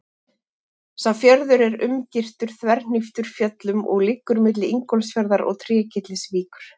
Sá fjörður er umgirtur þverhníptum fjöllum og liggur milli Ingólfsfjarðar og Trékyllisvíkur.